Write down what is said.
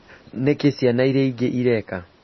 Nĩ kĩĩ ciana iria ingĩ ireka?